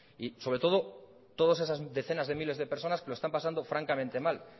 y sobre todo todas esas decenas de miles de personas que lo están pasando francamente mal